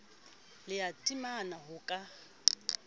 le ya taemane ho ka